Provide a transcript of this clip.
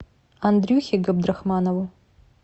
андрюхе габдрахманову